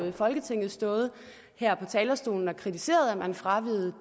i folketinget stået her på talerstolen og kritiseret at man fraveg